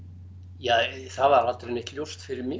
ja það var aldrei neitt ljóst fyrir mig